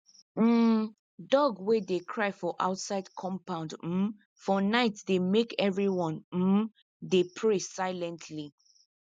um dog wey dey cry for outside compound um for night dey make everyone um dey pray silently